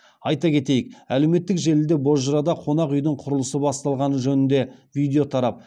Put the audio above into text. айта кетейік әлеуметтік желіде бозжырада қонақ үйдің құрылысы басталғаны жөнінде видео тарап